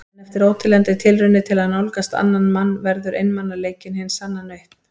En eftir óteljandi tilraunir til að nálgast annan mann verður einmanaleikinn hin sanna nautn.